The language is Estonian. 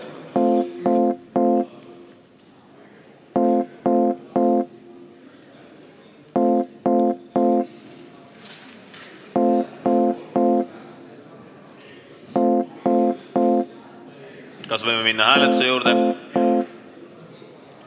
Kas võime minna hääletuse juurde?